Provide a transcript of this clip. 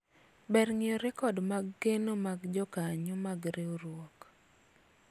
ber ng'iyo rekod mag keno maga jokanyo mag riwruok